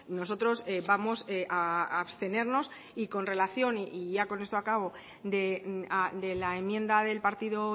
nosotros vamos a abstenernos y con relación y ya con esto acabo de la enmienda del partido